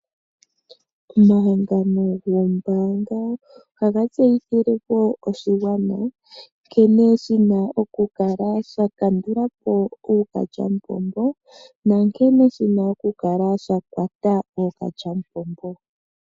Omahangano gombaanga ohaga tseyithile aakwashigwana nkene yena oku kala ya kandulapo ookalyampombo na nkene shina okukwata ookalyampombo.